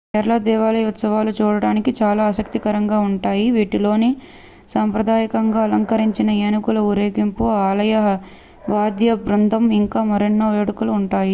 కేరళ దేవాలయ ఉత్సవాలు చూడడానికి చాలా ఆసక్తికరంగా ఉంటాయి వీటిలో సాంప్రదాయకంగా అలంకరించిన ఏనుగుల ఊరేగింపు ఆలయ వాద్య బృందం ఇంకా మరెన్నో వేడుకలు ఉంటాయి